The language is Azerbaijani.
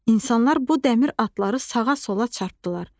İnsanlar bu dəmir atları sağa-sola çırpdılar.